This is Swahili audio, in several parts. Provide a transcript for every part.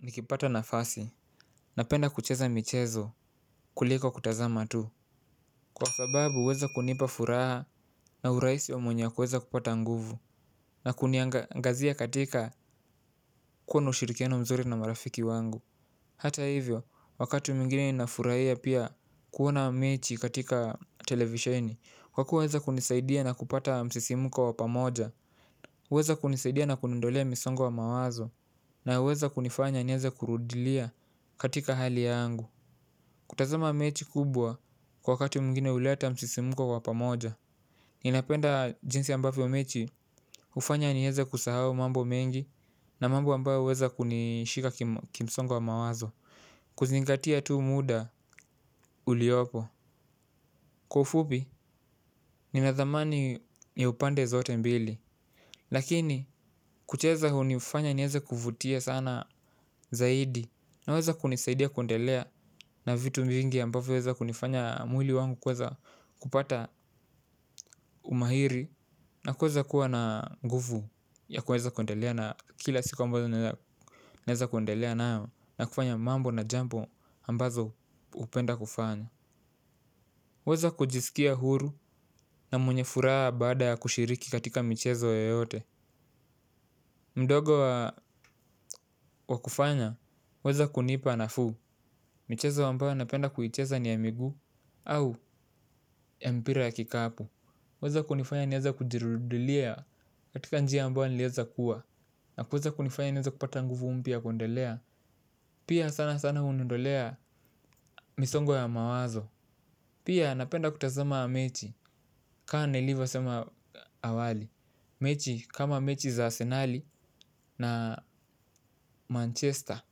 Nikipata nafasi napenda kucheza michezo kuliko kutazama tu kwa sababu huweza kunipa furaha na urahisi wa mwenye kuweza kupata nguvu na kuniangazia katika kuwa na ushirikiano mzuri na marafiki wangu. Hata hivyo wakati mwingine nafurahia pia kuona mechi katika televisheni kwa kuweza kunisaidia na kupata msisimuko wa pamoja. Huweza kunisaidia na kuniondolea misongo wa mawazo na huweza kunifanya nieze kurudilia katika hali yangu. Kutazama mechi kubwa kwa wakati mwigine huleta msisimuko wa pamoja. Ninapenda jinsi ambavyo mechi hufanya nieze kusahau mambo mengi na mambo ambayo huweza kunishika kimsongo wa mawazo. Kuzingatia tu muda uliopo. Kwa ufupi, nina thamani ya upande zote mbili. Lakini, kucheza hunifanya nieza kuvutia sana zaidi. Unaweza kunisaidia kuendelea na vitu vingii ambavyo huweza kunifanya mwili wangu kueza kupata umahiri na kueza kuwa na nguvu ya kueza kuendelea na kila siku ambayo naeza kuendelea nao na kufanya mambo na jambo ambazo hupenda kufanya. Kueza kujisikia huru na mwenye furaha baada ya kushiriki katika michezo yoyote. Mdogo wa kufanya waweza kunipa nafuu. Michezo ambao napenda kuicheza ni ya miguu au ya mpira ya kikapu. Waweza kunifanya nianze kujirudilia katika njia ambayo niliweza kuwa. Nakueza kunifanya niweza kupata nguvu mpya ya kuedelea. Pia sana sana huniondolea misongo ya mawazo. Pia napenda kutazama mechi kama nilivyosema awali. Mechi kama mechi za asenali na manchester.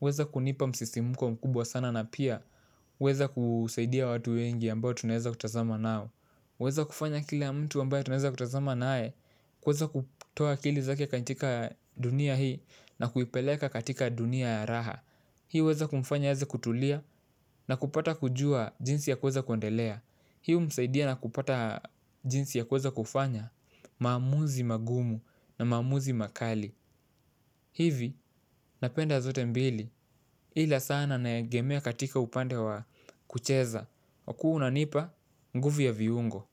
Hueza kunipa msisimuko mkubwa sana na pia hueza kusaidia watu wengi ambao tunaeza kutazama nao. Huweza kufanya kilabmtu ambaye tunaeza kutazama nae. Kueza kutoa akili zake katika dunia hii na kuipeleka katika dunia ya raha. Hii huweza kumfanya aeze kutulia na kupata kujua jinsi ya kueza kuedelea. Hii humsaidia na kupata jinsi ya kueza kufanya maamuzi magumu na maamuzi makali. Hivi napenda zote mbili. Ila sana naegemia katika upande wa kucheza kwa kuwa unanipa nguvu ya viungo.